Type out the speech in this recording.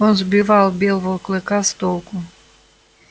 он сбивал белого клыка с толку